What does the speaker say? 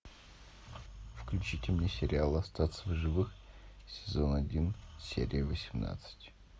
включите мне сериал остаться в живых сезон один серия восемнадцать